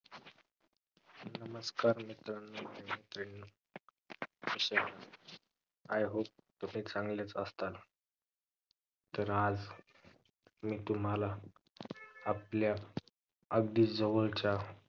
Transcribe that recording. नमस्कार मित्रांनो मी प्रवीण कशे आहेत? I hope तसे चांगलेच असताल तर आज मी तुम्हाला आपल्या अगदी जवळच्या